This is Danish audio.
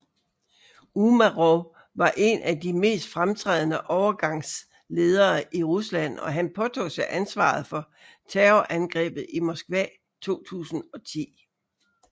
Umarov var en af de mest fremtrædende overgangsledere i Rusland og han påtog sig ansvaret for Terrorangrebet i Moskva 2010